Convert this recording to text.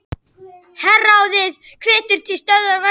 Herráðið hvetur til stöðvunar verkfalls